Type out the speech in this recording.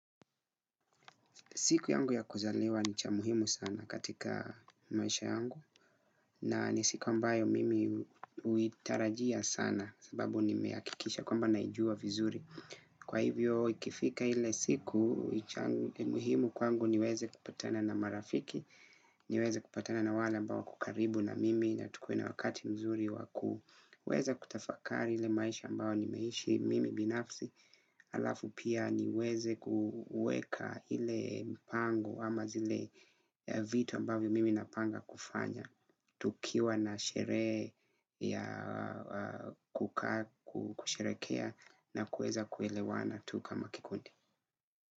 Siku yangu ya kuzaliwa ni cha muhimu sana katika maisha yangu na ni siku ambayo mimi huitarajia sana sababu ni nimehakikisha kwamba naijua vizuri. Kwa hivyo ikifika ile siku muhimu kwangu niweze kupatana na marafiki, niweze kupatana na wale ambao wapo karibu na mimi na tukue na wakati mzuri waku. Uweza kutafakari ile maisha ambao ni meishi mimi binafsi. Alafu pia niweze kuweka ile mpango ama zile vitu ambavyo mimi napanga kufanya. Tukiwa na sherehe ya kuka kusherekea na kueza kuelewana tu kama kikundi.